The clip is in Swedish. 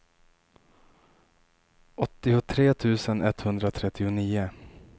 åttiotre tusen etthundratrettionio